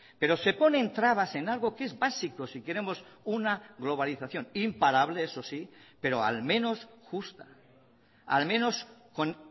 pero se ponen trabas en algo que es básico si queremos una globalización imparable eso sí pero al menos justa al menos con